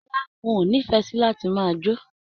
Rárá, n o nífẹẹ sí láti máa jó.